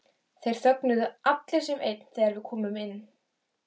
Þeir þögnuðu allir sem einn þegar við komum inn.